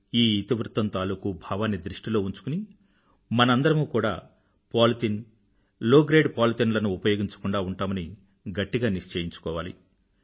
ఈ ఇతివృత్తం తాలూకూ భావాన్ని దృష్టిలో ఉంచుకుని మనందరమూ కూడా పోలిథిన్ లో గ్రేడ్ పోలిథిన్ లను ఉపయోగించకుండా ఉంటామని గట్టిగా నిశ్చయించుకోవాలి